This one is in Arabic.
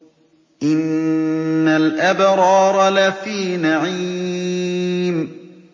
إِنَّ الْأَبْرَارَ لَفِي نَعِيمٍ